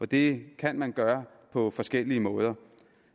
det kan man gøre på forskellige måder